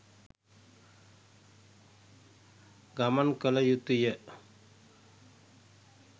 ගමන් කළ යුතු ය.